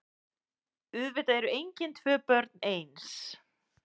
Auðvitað eru engin tvö börn eins.